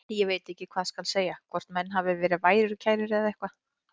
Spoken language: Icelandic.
Ég veit ekki hvað skal segja, hvort menn hafi verið værukærir eða eitthvað.